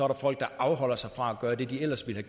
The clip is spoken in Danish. der folk der afholder sig fra at gøre det de ellers ville